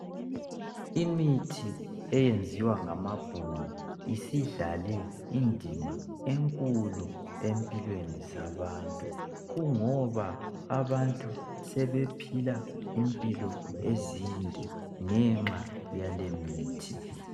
Imithi eyenziwa ngamabhunu isidlale indima enkulu empilweni zabantu kungoba abantu sebephila impilo ende ngenxa yaleyi mithi